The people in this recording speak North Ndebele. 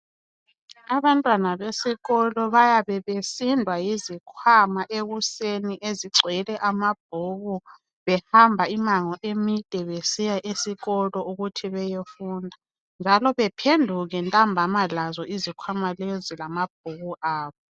Abantwana besikolo bayabe besindwa yizikhwama ekuseni ezigcwele amabhuku behamba imango emide besiya esikolo ukuthi beyofunda njalo bephenduke ntambama lazo izikhwama lezi lamabhuku abo.